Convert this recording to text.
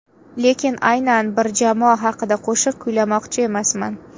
Lekin, aynan bir jamoa haqida qo‘shiq kuylamoqchi emasman.